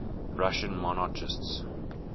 russian monarchists